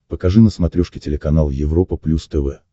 покажи на смотрешке телеканал европа плюс тв